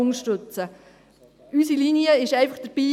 Dabei ist unsere Linie einfach.